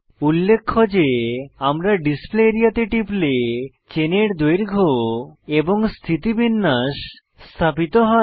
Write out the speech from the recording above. উল্লেখ্য যে আমরা ডিসপ্লে আরিয়া তে টিপলে চেনের দৈর্ঘ্য এবং স্থিতিবিন্যাস স্থাপিত হয়